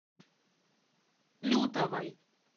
лютовой